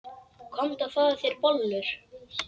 Komdu og fáðu þér bollur.